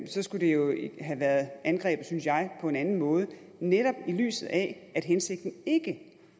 så skulle det jo have været angrebet synes jeg på en anden måde netop i lyset af at hensigten ikke